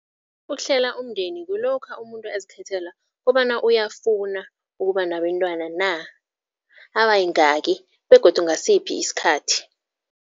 Ukuhlela umndeni kulokha umuntu azikhethela kobana, uyafuna ukuba nabentwana na, abayingaki begodu ngasiphi isikhathi.